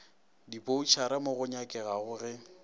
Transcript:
diboutšhara mo go nyakegago ge